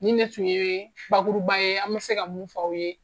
Nin ne tun ye bakuruba ye an bɛ se ka mun f'aw ye.